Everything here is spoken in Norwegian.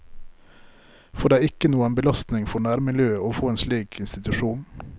For det er ikke noen belastning for nærmiljøet å få en slik institusjon.